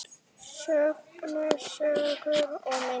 Söngur, sögur og myndir.